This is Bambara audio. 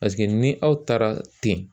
ni aw taara ten